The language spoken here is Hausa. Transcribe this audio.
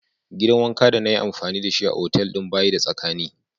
Gidan wanka de na yi amfani da shi a'otelin ba yi da tsakami.